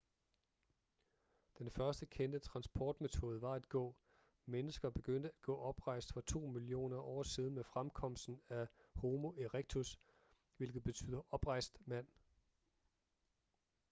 den første kendte transportmetode var at gå mennesker begyndte at gå oprejst for to millioner år siden med fremkomsten af homo erectus hvilket betyder oprejst mand